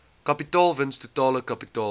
kapitaalwins totale kapitaalwins